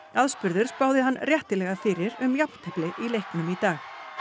aðspurður spáði hann réttilega fyrir um jafntefli í leiknum í dag